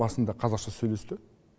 басында қазақша сөйлесті